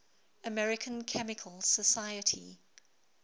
american chemical society